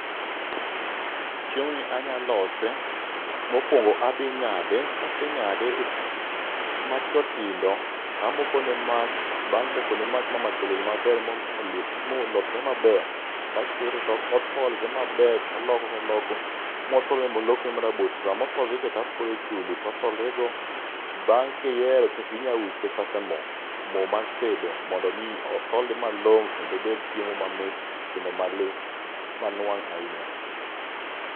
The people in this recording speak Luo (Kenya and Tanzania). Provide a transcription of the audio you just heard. Chiemoni anya lose, mokuongo adhi ng'ade, kase ng'ade matindo tindo tamoko ne mach. Bang' mokone mach ma mach oliel maber molosre maber, to akete to otholre maber taloko taloko motholre molokre marabuor, to sama otholre cha taole chumbi otholrego bang'e kihero to inyalo wiche kata mo, mo mar tedo mondo mi otholre malong'o kendo obed chiemo mamit kendo ma le ma nuang' ahinya.